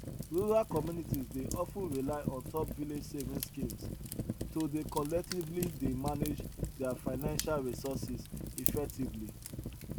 rural communities dey of ten rely on top village savings schemes to dey collectively dey manage their financial resources effectively